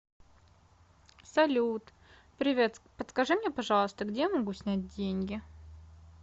салют привет подскажи мне пожалуйста где я могу снять деньги